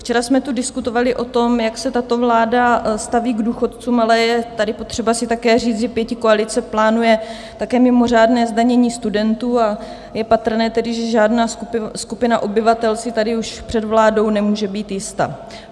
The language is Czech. Včera jsme tu diskutovali o tom, jak se tato vláda staví k důchodcům, ale je tady potřeba si také říct, že pětikoalice plánuje také mimořádné zdanění studentů, a je patrné tedy, že žádná skupina obyvatel si tady už před vládou nemůže být jista.